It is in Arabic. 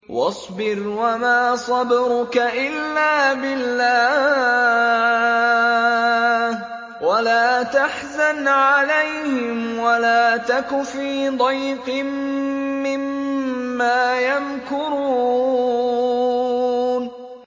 وَاصْبِرْ وَمَا صَبْرُكَ إِلَّا بِاللَّهِ ۚ وَلَا تَحْزَنْ عَلَيْهِمْ وَلَا تَكُ فِي ضَيْقٍ مِّمَّا يَمْكُرُونَ